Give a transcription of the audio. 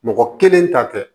Mɔgɔ kelen ta tɛ